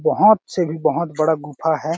बहोत से भी बहोत बड़ा गुफा है।